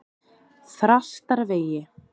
Þrastarvegi